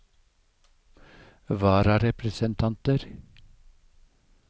vararepresentanter